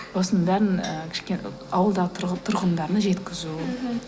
осының бәрін ы ауылдағы тұрғындарына жеткізу мхм